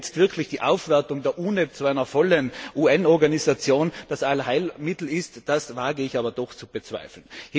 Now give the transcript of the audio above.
Ob jetzt wirklich die Aufwertung der UNEP zu einer vollen UN Organisation das Allheilmittel ist, das wage ich aber doch zu bezweifeln.